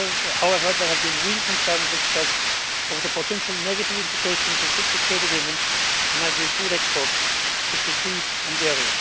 However, there have been real concerns expressed over the potential negative implications of such a trade agreement on agri-food exports such as beef and dairy.